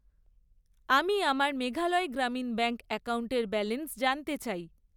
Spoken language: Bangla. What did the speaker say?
আমি আমার মেঘালয় গ্রামীণ ব্যাঙ্ক অ্যাকাউন্টের ব্যালেন্স জানতে চাই।